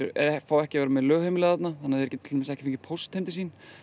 fá ekki að vera lögheimili þarna þannig þeir geta til dæmis ekki fengið póst heim til sín